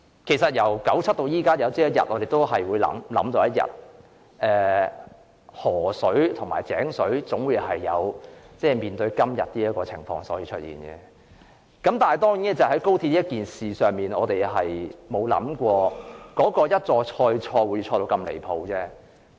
其實，由1997年至今，大家早已知道河水和井水總有一天會面對今天這種情況。當然，就高鐵一事，我們沒有想到會一錯再錯且錯得那樣離譜。